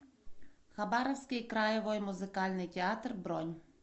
хабаровский краевой музыкальный театр бронь